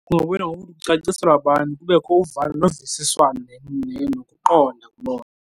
caciselwa abantu kubekho uvano novisiswano nokuqonda kuloo nto.